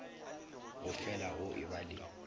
go fela go eba le